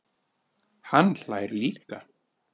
Hann hlær líka.